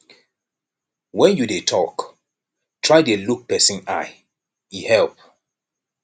when you dey talk try dey look person eye e help